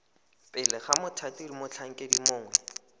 pele ga mothati motlhankedi mongwe